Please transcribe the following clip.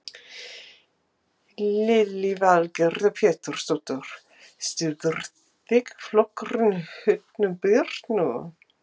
Lillý Valgerður Pétursdóttir: Styður þingflokkurinn Hönnu Birnu?